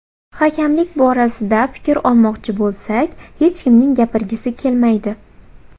Hakamlik borasida fikr olmoqchi bo‘lsak, hech kimning gapirgisi kelmaydi.